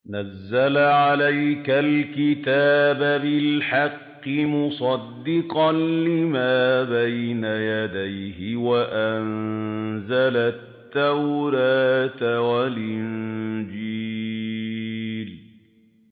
نَزَّلَ عَلَيْكَ الْكِتَابَ بِالْحَقِّ مُصَدِّقًا لِّمَا بَيْنَ يَدَيْهِ وَأَنزَلَ التَّوْرَاةَ وَالْإِنجِيلَ